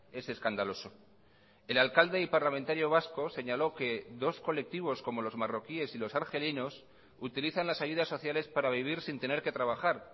es escandaloso el alcalde y parlamentario vasco señaló que dos colectivos como los marroquíes y los argelinos utilizan las ayudas sociales para vivir sin tener que trabajar